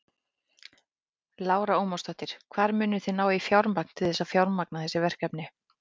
Lára Ómarsdóttir: Hvar munið þið ná í fjármagn til þess að fjármagna þessi verkefni?